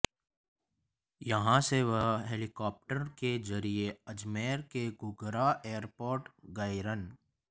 यहां से वह हेलिकाप्टर के जरिए अजमेर के घूघरा एयरपोर्ट गईर्ं